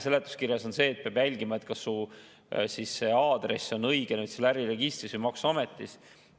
Seletuskirjas on silmas peetud, et peab jälgima, kas su aadress on äriregistris või maksuametis õige.